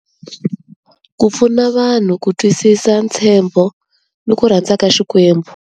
Ku pfuna vanhu ku twisisa ntshembo ni ku rhandza ka Xikwembu.